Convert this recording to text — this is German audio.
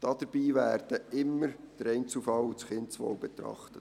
Dabei werden immer der Einzelfall und das Kindeswohl betrachtet.